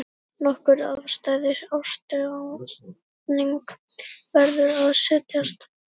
Nokkuð afstæð ástarjátning, verður að segjast.